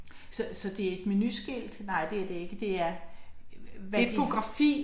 Så så det et menuskilt, nej det er det ikke, det er, hvad er det?